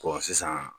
sisan